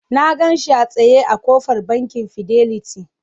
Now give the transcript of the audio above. Na gan shi a tsaye a ƙofar Bankin Fidelity.